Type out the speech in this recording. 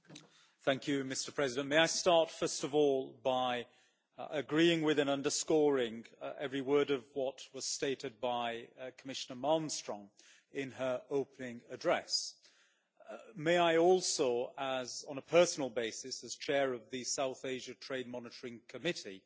Mr President, may I start by agreeing with and underscoring every word of what was stated by Commissioner Malmström in her opening address. May I also on a personal basis as Chair of the South Asia Trade Monitoring Committee